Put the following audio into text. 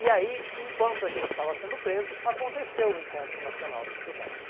E aí, enquanto a gente estava sendo preso, aconteceu o Encontro Nacional de Estudantes.